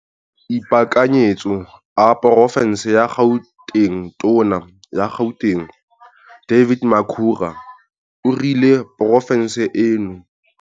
Maemo a ipaakanyetso a porofense ya GautengTona ya Gauteng David Makhura o rile porofense eno -